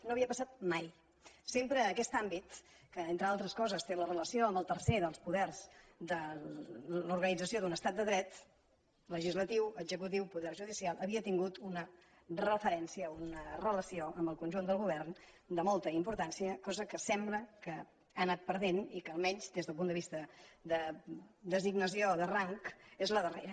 no havia passat mai sempre aquest àmbit que entre altres coses té la relació amb el tercer dels poders de l’organització d’un estat de dret legislatiu executiu poder judicial havia tingut una referència una relació amb el conjunt del govern de molta importància cosa que sembla que ha anat perdent i que almenys des del punt de vista de designació de rang és la darrera